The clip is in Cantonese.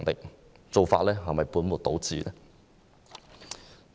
這種做法是否本末倒置？